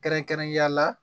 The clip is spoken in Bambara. Kɛrɛnkɛrɛnnenya la